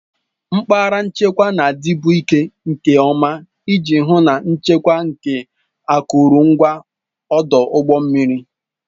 Mpaghara nchekwa na-adịbu ike nke ọma iji hụ na nchekwa nke akụrụngwa ọdụ ụgbọ mmiri